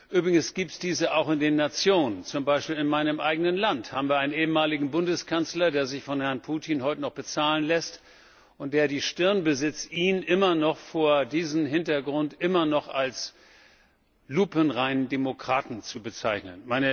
Übrigens gibt es diese auch in den Nationen, zum Beispiel in meinem eigenen Land haben wir einen ehemaligen Bundeskanzler, der sich von Herrn Putin heute noch bezahlen lässt und der die Stirn besitzt, ihn vor diesem Hintergrund immer noch als lupenreinen Demokraten zu bezeichnen.